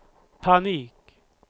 panik